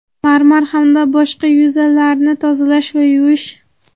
marmar hamda boshqa yuzalarni tozalash va yuvish.